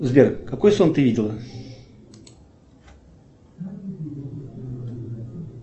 сбер какой сон ты видела